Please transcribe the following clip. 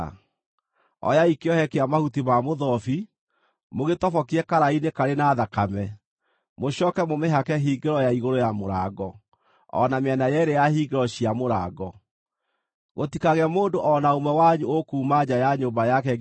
Oyai kĩohe kĩa mahuti ma mũthobi, mũgĩtobokie karaĩ-inĩ karĩ na thakame, mũcooke mũmĩhake hingĩro ya igũrũ ya mũrango, o na mĩena yeerĩ ya hingĩro cia mũrango. Gũtikagĩe mũndũ o na ũmwe wanyu ũkuuma nja ya nyũmba yake nginya rũciinĩ.